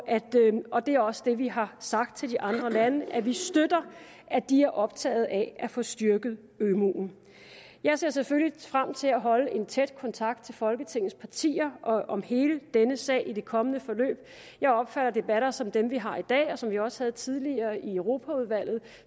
det er også det vi har sagt til de andre lande nemlig at vi støtter at de er optaget af at få styrket ømuen jeg ser selvfølgelig frem til at holde tæt kontakt til folketingets partier om hele denne sag i det kommende forløb jeg opfatter debatter som dem vi har i dag og som vi også havde tidligere i europaudvalget